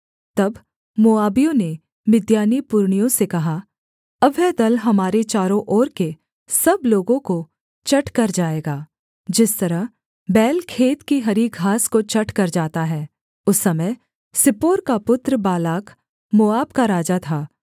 तब मोआबियों ने मिद्यानी पुरनियों से कहा अब वह दल हमारे चारों ओर के सब लोगों को चट कर जाएगा जिस तरह बैल खेत की हरी घास को चट कर जाता है उस समय सिप्पोर का पुत्र बालाक मोआब का राजा था